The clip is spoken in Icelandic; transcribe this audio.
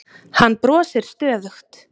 Hann brosir stöðugt.